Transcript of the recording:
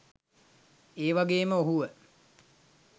ඒවගේම ඔහුව